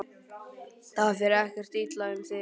Það fer ekkert illa um þig?